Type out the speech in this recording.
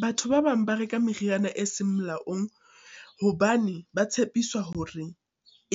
Batho ba bang ba reka meriana e seng molaong, hobane ba tshepiswa hore